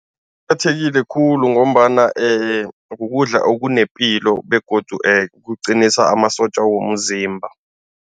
khulu ngombana kukudla okunepilo begodu kuqinisa amasotja womzimba.